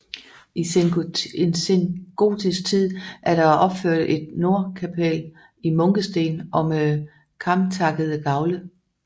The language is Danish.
I sengotisk tid er der opført et nordkapel i munkesten og med kamtakkede gavle